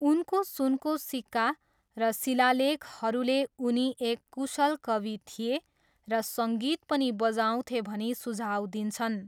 उनको सुनको सिक्का र शिलालेखहरूले उनी एक कुशल कवि थिए र सङ्गीत पनि बजाउँथे भनी सुझाउ दिन्छन्।